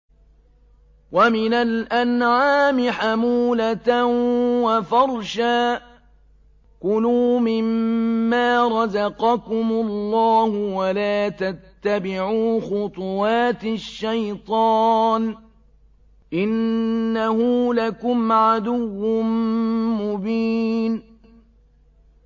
وَمِنَ الْأَنْعَامِ حَمُولَةً وَفَرْشًا ۚ كُلُوا مِمَّا رَزَقَكُمُ اللَّهُ وَلَا تَتَّبِعُوا خُطُوَاتِ الشَّيْطَانِ ۚ إِنَّهُ لَكُمْ عَدُوٌّ مُّبِينٌ